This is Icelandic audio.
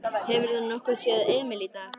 Hefurðu nokkuð séð Emil í dag?